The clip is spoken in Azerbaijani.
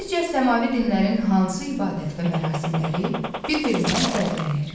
Sizcə səmavi dinlərin hansı ibadət və mərasimləri bir-birindən fərqlənir?